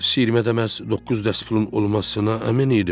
Siyirmədə məhz doqquz dəst pulun olmasına əmin idim.